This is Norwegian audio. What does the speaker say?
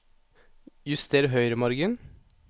Juster høyremargen